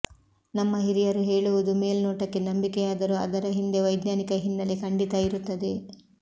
ನಮ್ಮ ಹಿರಿಯರು ಹೇಳುವುದು ಮೇಲ್ನೋಟಕ್ಕೆ ನಂಬಿಕೆಯಾದರೂ ಅದರ ಹಿಂದೆ ವೈಜ್ಞಾನಿಕ ಹಿನ್ನೆಲೆ ಖಂಡಿತಾ ಇರುತ್ತದೆ